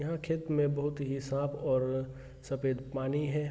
यहाँ खेत में बहुत ही साफ़ और सफ़ेद पानी है ।